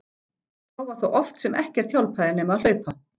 Þá var það oft sem ekkert hjálpaði nema að hlaupa.